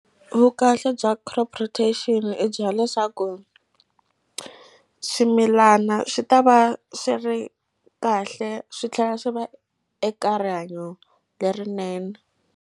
Vukahle bya crop rotation i byela leswaku swimilana swi ta va swi ri kahle swi tlhela swi va eka rihanyo lerinene.